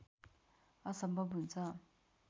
असम्भव हुन्छ